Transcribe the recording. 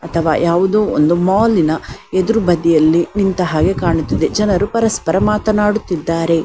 ಅಥವಾ ಯಾವುದೊ ಒಂದು ಮಾಲ್ ನ ಎದುರು ಬದಿಯಲ್ಲಿ ನಿಂತ ಹಾಗೆ ಕಾಣುತ್ತಿದೆ ಜನರು ಪರಸ್ಪರ ಮಾತನಾಡುತ್ತಿದ್ದಾರೆ.